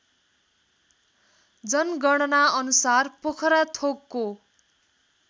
जनगणना अनुसार पोखराथोकको